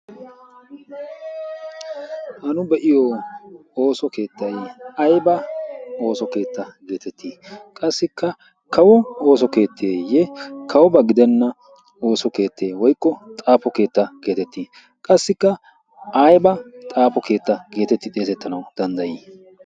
Ha nu be'iyo ooso keettay ayba ooso keetta geetettii? Qassikka kawo ooso keetteeyye kawoba gidenna ooso keettee woykko xaafo keetta geetettii? Qassikka ayba xaafo keetta geetetti xeesettanawu danddayii?